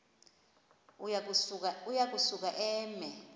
uya kusuka eme